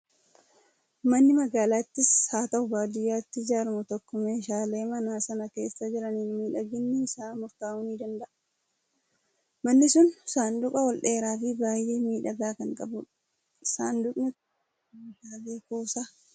Manni magaalaattis haa ta'u baadiyyaatti ijaaramu tokko meeshaalee mana sana keessa jiraniin miidhaginni isaa murtaa'uu ni danda'a. Manni kun saanduqa ol dheeraa fi baay'ee miidhagaa kan qabudha! Saanduqni kun meeshaalee kuusa.